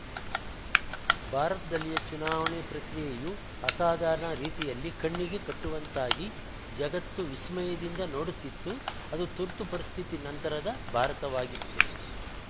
ಭಾರತದಲ್ಲಿಯ ಚುನಾವಣೆ ಪ್ರಕ್ರಿಯೆಯು ಅಸಾಧಾರಣ ರೀತಿಯಲ್ಲಿ ಕಣ್ಣಿಗೆ ಕಟ್ಟುವಂತಾಗಿ ಜಗತ್ತು ವಿಸ್ಮಯದಿಂದ ನೋಡುತ್ತಿತ್ತು ಅದು ತುರ್ತುಪರಿಸ್ಥಿತಿ ನಂತರದ ಭಾರತವಾಗಿತ್ತು